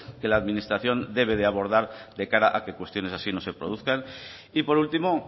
que la administración debe de abordar de cara a que cuestiones así no se produzcan y por último